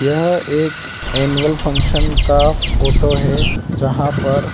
यह एक annual function का फोटो है जहां पर --